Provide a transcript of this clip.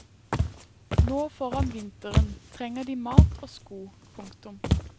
Nå foran vinteren trenger de mat og sko. punktum